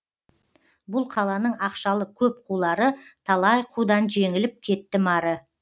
бұл қаланың ақшалы көп қулары талай қудан жеңіліп кеттім ары